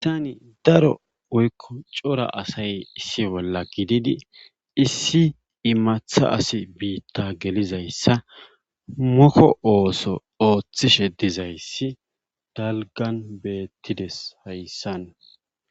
Daro woykko cora asay hayssani issi bolla gididi issi imata asi biita gelizayssa moko ooso oothishe dizayssi dalggan betidees hayssan.